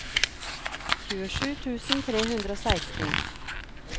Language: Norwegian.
tjuesju tusen tre hundre og seksten